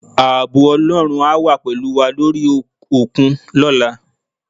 Ààbò Ọlọ́run á wà pẹ̀lú wà lórí òkun lọ́la